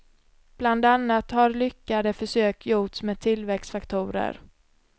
Bland annat har lyckade försök gjorts med tillväxtfaktorer.